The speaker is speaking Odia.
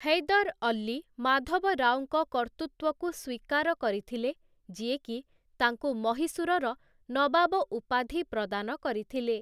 ହୈଦର ଅଲ୍ଲୀ ମାଧବରାଓଙ୍କ କର୍ତ୍ତୃତ୍ଵକୁ ସ୍ୱୀକାର କରିଥିଲେ, ଯିଏକି ତାଙ୍କୁ ମହୀଶୂରର ନବାବ ଉପାଧି ପ୍ରଦାନ କରିଥିଲେ ।